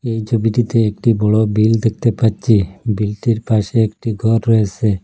এই ছবিটিতে একটি বড় বিল দেখতে পাচ্ছি বিলটির পাশে একটি ঘর রয়েস়ে।